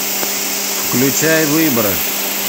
включай выборы